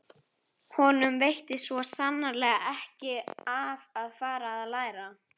Honum veitti svo sannarlega ekki af að fara að læra.